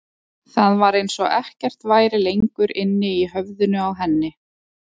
Það var eins og ekkert væri lengur inni í höfðinu á henni.